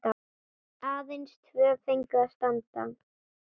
Aðeins tvö fengu að standa.